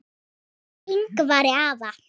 Hjá Yngvari afa